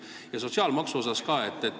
Ja küsin sotsiaalmaksu kohta ka.